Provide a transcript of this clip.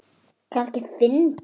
Kannski fyndið.